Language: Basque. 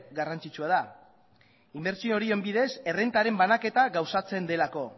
garrantzitsua da inbertsio horien bidez errentaren banaketa gauzatzen delako